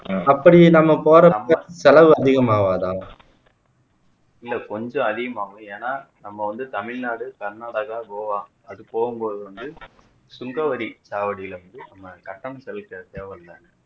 அப்படி நம்ம போறதுக்கு செலவு அதிகமாகாதா இல்ல கொஞ்சம் அதிகமாகும் ஏன்னா நம்ம வந்து தமிழ்நாடு கர்நாடகா கோவா அது போகும் போது வந்து சுங்கவரி சாவடில இருந்து நம்ம கட்டணம் செலுத்த தேவல்ல